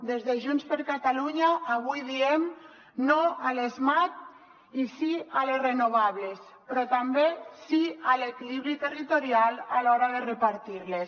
des de junts per catalunya avui diem no a les mat i sí a les renovables però també sí a l’equilibri territorial a l’hora de repartir les